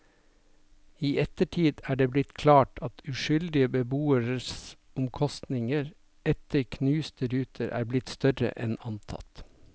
I ettertid er det blitt klart at uskyldige beboeres omkostninger etter knuste ruter er blitt større enn antatt.